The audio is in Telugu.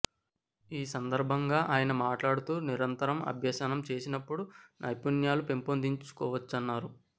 ఈ సందర్భంగా ఆయన మాట్లాడుతూ నిరంతరం అభ్యసనం చేసినపుడే నైపుణ్యాలు పెంపొందించుకోవచ్చన్నారు